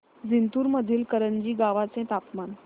जिंतूर मधील करंजी गावाचे तापमान